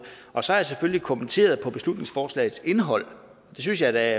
og så har jeg selvfølgelig kommenteret beslutningsforslagets indhold det synes jeg da